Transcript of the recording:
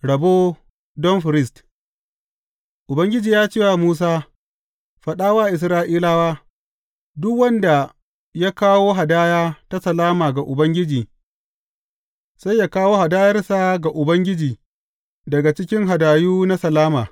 Rabo don firist Ubangiji ya ce wa Musa, Faɗa wa Isra’ilawa, Duk wanda ya kawo hadaya ta salama ga Ubangiji, sai ya kawo hadayarsa ga Ubangiji daga cikin hadayu na salama.